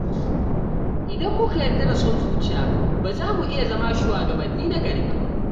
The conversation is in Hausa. Idan muka yarda da son zuciya, ba za mu iya zama shugabanni nagari ba.